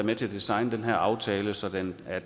med til at designe den her aftale så den er